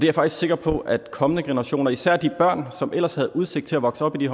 er faktisk sikker på at kommende generationer især de børn som ellers havde udsigt til at vokse op i